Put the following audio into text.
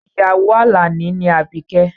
Ìyàwó Àlàní ni Àbíkẹ́